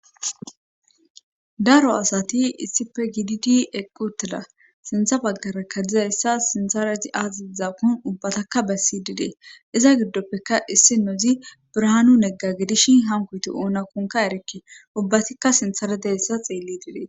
daro asati issife gidid eqqutela sintha baggarakka dizayssa sintaraji aazziza kun ubbatakka bessi didee iza giddoppeka issi nodzi birahanu negga gidishin hankoyti ouna kunka erekke ubbatikka sintharedeessa xeelli didee